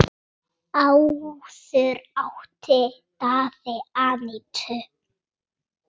Áður átti Daði Anítu.